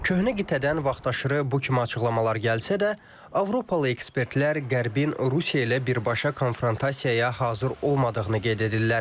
Köhnə qitədən vaxtaşırı bu kimi açıqlamalar gəlsə də, Avropalı ekspertlər Qərbin Rusiya ilə birbaşa konfrontasiyaya hazır olmadığını qeyd edirlər.